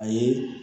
Ayi